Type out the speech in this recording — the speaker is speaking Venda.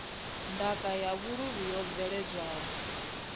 ndaka ya vhuluvhi yo bveledzwaho